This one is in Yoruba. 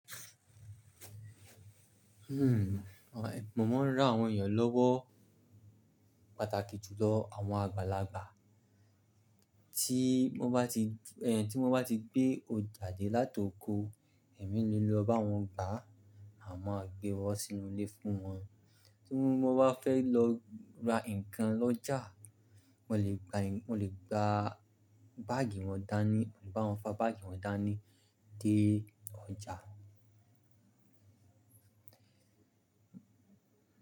Mo máa ń rán àwọn èèyàn lọ́wọ́ pàtàkì jùlọ àwọn àgbàlagbà tí mo bá ti, ẹ, tí mo bá ti gbé ọjà dé láti oko, ẹ̀mí líle lọ bá wọn gbà, àmo gbé wọ́n sínú ilé fún wọn. Tí mo bá fẹ́ lọ ra ǹkan lọ́jà, mo lè gba ǹ-- mo lè gba báàgì wọn dání, mo le bá wọn fa báàgì wọn dání dé ọjà.